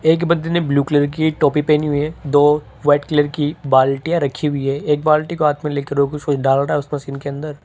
एक बंदे ने ब्लू कलर की टोपी पहनी है दो वाइट कलर की बाल्टीयां रखी हुई है एक बाल्टी को हाथ में लेकर वो कुछ कुछ डाल रहा अंदर उस मशीन के अंदर --